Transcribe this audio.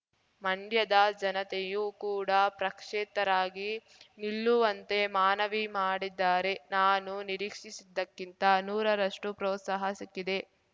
ಮಂಡ್ಯದ ಜನತೆಯೂ ಕೂಡ ಪ್ರಕ್ಷೇತರಾಗಿ ನಿಲ್ಲುವಂತೆ ಮಾನವಿ ಮಾಡಿದ್ದಾರೆ ನಾನು ನಿರೀಕ್ಷಿಸಿದ್ದಕ್ಕಿಂತ ನೂರರಷ್ಟು ಪ್ರೋತ್ಸಾಹ ಸಿಕ್ಕಿದೆ